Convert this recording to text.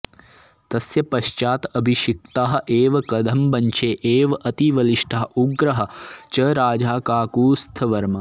तस्य पश्चात् अभिषिक्तः एव कदम्बवंशे एव अतिबलिष्ठः उग्रः च राजा काकुस्थवर्मा